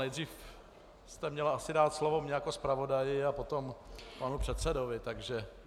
Nejdřív jste měla asi dát slovo mně jako zpravodaji a potom panu předsedovi, takže...